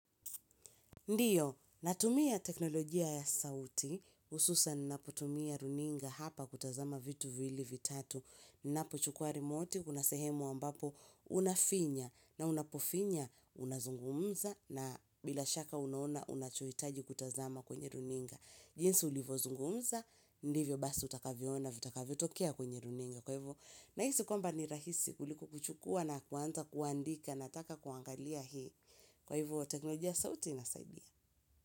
Ndiyo, natumia teknolojia ya sauti, hususan ninaputumia runinga hapa kutazama vitu vili vitatu, ninapochukua remote, kuna sehemu ambapo unafinya, na unapofinya, unazungumza, na bila shaka unaona, unachohitaji kutazama kwenye runinga. Jinsi ulivo zungumza, ndivyo basi utakaviona, utakavyo tokea kwenye runinga. Kwa hivyo, na hisi kwamba rahisi kuliko kuchukua na kuanza kuandika nataka kuangalia hii. Kwa hivyo, teknolojia sauti inasaidia.